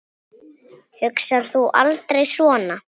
Hugsar þú aldrei svona?